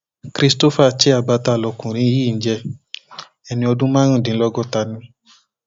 christopher chiabata lọkùnrin yìí ń jẹ ẹni ọdún mẹrìndínlọgọta ni